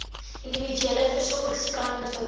individuele versorgingsplan ontwikkel